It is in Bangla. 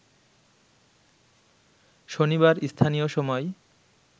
শনিবার স্থানীয় সময়